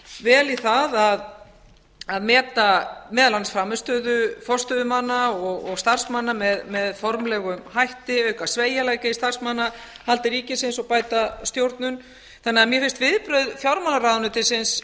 vel í það að meta meðal annars frammistöðu forstöðumanna og starfsmanna með formlegum hætti auka sveigjanleika í starfsmannahaldi ríkisins og bæta stjórnun þannig að mér finnast